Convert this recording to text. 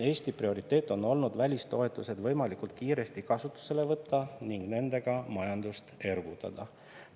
Eesti prioriteet on olnud välistoetused võimalikult kiiresti kasutusele võtta ning nendega majandust ergutada.